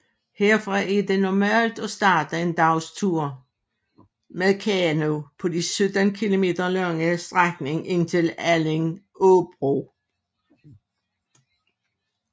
Herfra er det normalt at starte en dagstur med kano på den 17 km lange strækning indtil Allingåbro